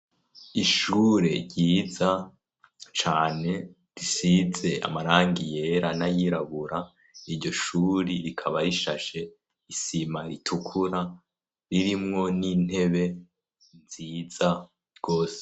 Ishure ryiza cane risize amarangi yera, n'ayirabura, iryo shuri rikaba rishashe isima ritukura, ririmwo n'intebe nziza gose.